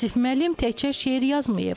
Yusif müəllim təkcə şeir yazmayıb.